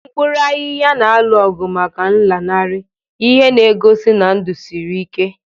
Mkpuru ahihia na-alụ ọgụ maka nlanarị, ihe na-egosi na ndụ siri ike.